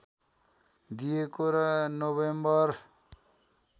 दिइएको र नोभेम्बर